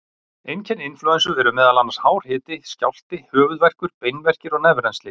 Einkenni inflúensu eru meðal annars hár hiti, skjálfti, höfuðverkur, beinverkir og nefrennsli.